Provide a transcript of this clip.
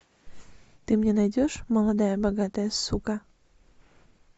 ты мне найдешь молодая богатая сука